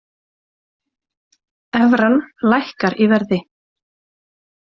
Evran lækkar í verði